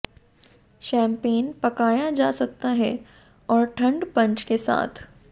champagne पकाया जा सकता है और ठंड पंच के साथ